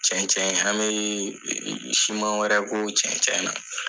Cɛncɛn in an bɛ siman wɛrɛ k'o cɛncɛn na.